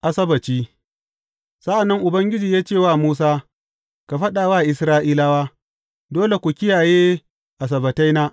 Asabbaci Sa’an nan Ubangiji ya ce wa Musa, Ka faɗa wa Isra’ilawa, Dole ku kiyaye Asabbataina.